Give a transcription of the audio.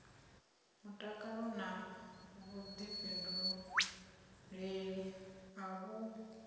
mutakalo na vhuḓifhinduleli a vhu